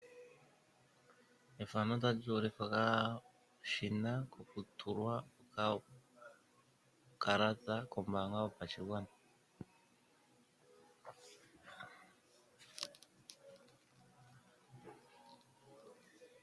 Otapu holoka okashina kokutula uukalata kombaanga yopashigwana, hono haka longithwa iilonga oyindji.